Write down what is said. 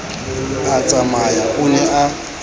a tsamaya o ne a